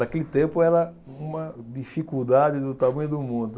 Naquele tempo era uma dificuldade do tamanho do mundo.